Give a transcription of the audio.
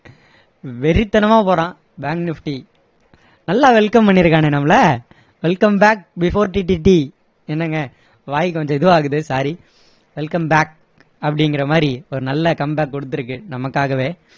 வெறித்தனமா போறான் bank nifty நல்லா welcome பண்ணி இருக்கானே நம்மளை welcome back before TTT என்னங்க வாய் கொஞ்சம் இதுவாகுது sorry welcome back அப்படிங்குற மாதிரி ஒரு நல்ல come back கொடுத்திருக்கு நமக்காகவே